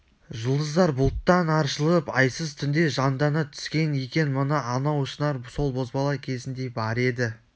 жұлдыздар бұлттан аршылып айсыз түнде жандана түскен екен мына анау шынар сол бозбала кезінде бар еді